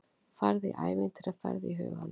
Farðu í ævintýraferð í huganum.